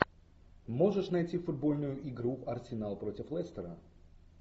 можешь найти футбольную игру арсенал против лестера